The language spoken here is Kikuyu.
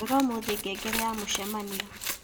rora umuthi ngengere ya mucemanio